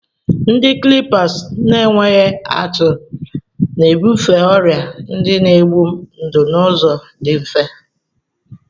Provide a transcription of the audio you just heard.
Ndị clippers na-enweghị atụ na-ebufe ọrịa ndị na-egbu ndụ n'ụzọ dị mfe.